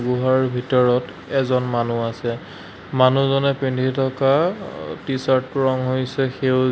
গুহাৰ ভিতৰত এজন মানুহ আছে মানুহজনে পিন্ধি থকা অহ টি-চাৰ্টটোৰ ৰং হৈছে সেউজী--